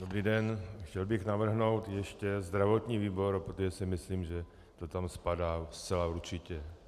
Dobrý den, chtěl bych navrhnout ještě zdravotní výbor, protože si myslím, že to tam spadá zcela určitě.